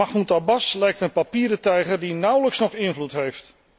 Mahmoud Abbas lijkt een papieren tijger die nauwelijks nog invloed heeft.